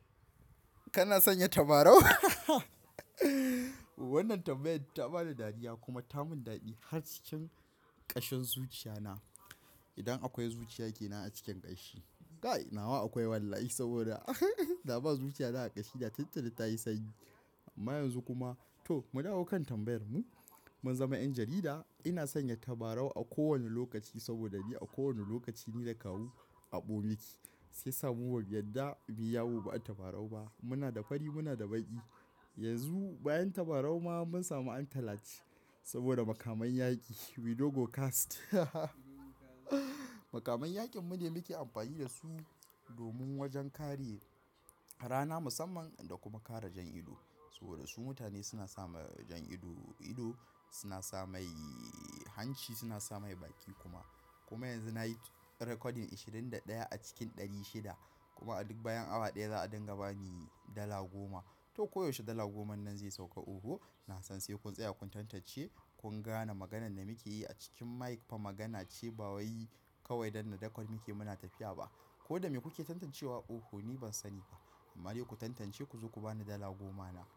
Kana sanya tabarau? Wannan tambayar ta bani dariya kuma ta mun daɗi har cikin ƙashin zuciya na. Idan akwai zuciya ke nan a cikin ƙanshi. Guy nawa akwai wallahi saboda da ba zuciya na a ƙashi, da tuntuni ta yi sanyi. Amma yanzu kuma to mu dawo kan tambayar mu. Mun zama 'yan jarida, ina sanya tabarau a kowane lokaci saboda ni a kowane lokaci ni na kawo aɓo miki, sai samu babu yadda, muyi yawo ba tabarau ba. Muna da fari muna da baƙi. Yanzu bayan tabarau ma mun samu an talaci saboda makaman yaƙi We logo cast. Makaman yaƙin mune muke amfani da su domin wajen kariye rana musamman da kuma kare jan ido. Saboda su mutane suna sa mai jan ido, ido suna sa mai hanci suna sa mai baki kuma. Kuma yanzu na yi recording ashirin da ɗaya a cikin ɗari shida kuma a duk bayan awa ɗaya za a dinga bani dala goma. To koyaushe dala goma nan zai sauka oho. Na san sai kun tsaya kun tantance kun gane maganan da muke yi a cikin mic fa magana ce ba wai kawai danna record muke muna tafiya ba. Ko da me kuke tantancewa oho ni ban sani ba. Amma dai ku tantance ku zo ku bani dala goma na.